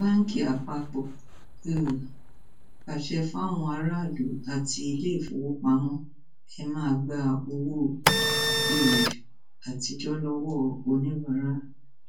báńkì àpapọ um pàṣẹ fáwọn aráàlú àti iléèfowópamọ ẹ máa gba owó um àtijọ lọwọ oníbàárà